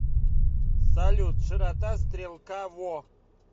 салют широта стрелка во